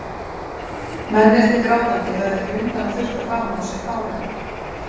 Mennirnir grátandi, höfðu ekki undan að þurrka framan úr sér tárin.